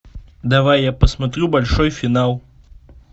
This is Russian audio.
давай я посмотрю большой финал